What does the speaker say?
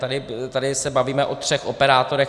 Tady se bavíme o třech operátorech.